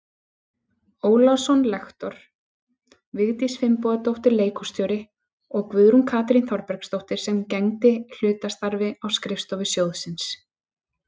Ólason lektor, Vigdís Finnbogadóttir leikhússtjóri og Guðrún Katrín Þorbergsdóttir sem gegndi hlutastarfi á skrifstofu sjóðsins.